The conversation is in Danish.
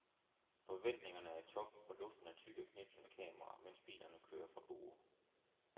Forventningerne er i top, og luften er tyk af knipsende kameraer, mens bilerne kører fra borde.